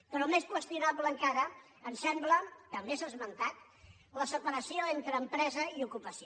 però més qüestionable encara ens sembla també s’ha esmentat la separació entre empresa i ocupació